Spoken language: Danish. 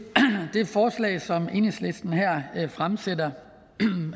det forslag som enhedslisten fremsætter